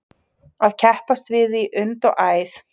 Að keppast við í und og æð